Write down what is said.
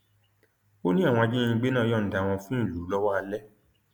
ó ní àwọn ajínigbé náà yọǹda wọn fún ìlú lọwọ alẹ